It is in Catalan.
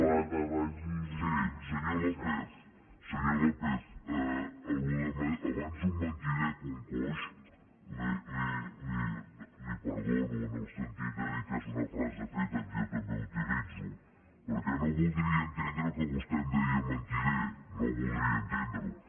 sí senyor lópez això d’ abans un mentider que un coix li ho perdono en el sentit de dir que és una frase feta que jo també utilitzo perquè no voldria entendre que vostè em deia mentider no voldria entendre ho